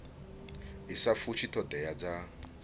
i sa fushi thodea dza